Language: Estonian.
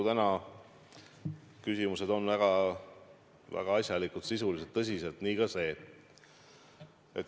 Täna on küsimused väga asjalikud, sisulised, tõsised, nii ka see.